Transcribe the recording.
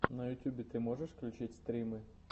на ютьюбе ты можешь включить стримы